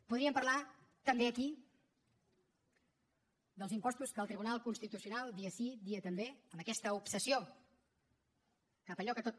podríem parlar també aquí dels impostos que el tribunal constitucional dia sí dia també amb aquesta obsessió cap allò que tot